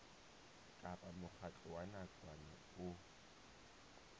kapa mokgatlo wa nakwana o